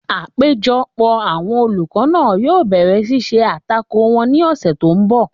Àpéjọpọ̀ àwọn olùkọ́ náà yóò bẹ̀rẹ̀ ṣíṣe àtakò wọn ní ọ̀sẹ̀ tó n bọ̀